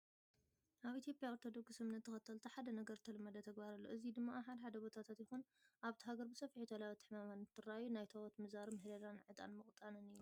ኣብ ኢትዮጵያ ኦርቶዶክስ እምነት ተኸተልቲ ሓደ ነገር ዝተለመደ ተግባር ኣሎ። እዚ ድማ ኣብ ሓደ ሓደ ቦታታት ይኹን ኣብቲ ሃገር ብሰፊሑ ተላበድቲ ሕማማት እንትረኣዩ ናይ ታቦት ምዛርን ምህለላን ዕጣን ምቅጣንን እዩ።